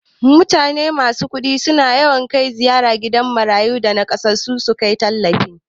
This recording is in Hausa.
Masu kudi suna yawan ziyartan gidajan marayu da nakasassu kai tallafi